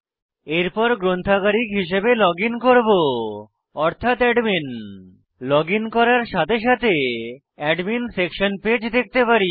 এরপর গ্রন্থাগারিক হিসাবে লজিন করব অর্থাৎ অ্যাডমিন লজিন করার সাথে সাথে অ্যাডমিন সেকশন পেজ দেখতে পারি